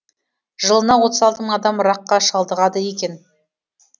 жылына отыз алты мың адам ракқа шалдығады екен